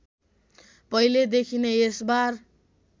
पहिलेदेखि नै यसबार